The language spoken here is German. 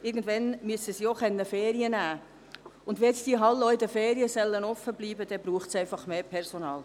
Irgendwann müssen sie Ferien nehmen können, und wenn nun die Hallen auch in den Ferien offen bleiben sollen, braucht es einfach mehr Personal.